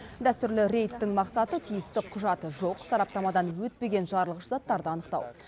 дәстүрлі рейдтің мақсаты тиісті құжаты жоқ сараптамадан өтпеген жарылғыш заттарды анықтау